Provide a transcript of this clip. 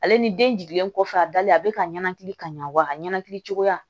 Ale ni den jiginlen kɔfɛ a dalen a bɛ ka ɲɛnakili ka ɲa wa a ka ɲɛnkili cogoya